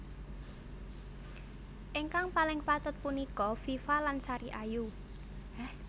Ingkang paling patut punika Viva lan Sari Ayu